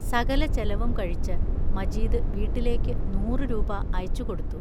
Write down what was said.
സകല ചെലവും കഴിച്ച് മജീദ് വീട്ടിലേക്കു നൂറു രൂപാ അയച്ചു കൊടുത്തു.